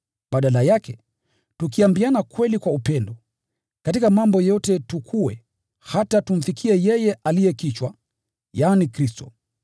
Badala yake, tukiambiana kweli kwa upendo, katika mambo yote tukue, hata tumfikie yeye aliye kichwa, yaani, Kristo.